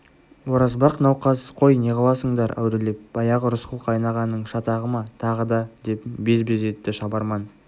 оразбақ науқас қой неғыласыңдар әурелеп баяғы рысқұл қайынағаның шатағы ма тағы да деп без-без етті шабарман